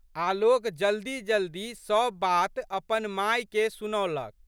आलोक जल्दी जल्दी सब बात अपन मायके सुनौलक।